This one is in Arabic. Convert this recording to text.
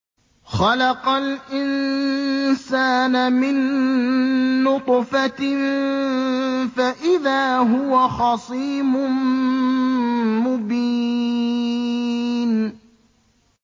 خَلَقَ الْإِنسَانَ مِن نُّطْفَةٍ فَإِذَا هُوَ خَصِيمٌ مُّبِينٌ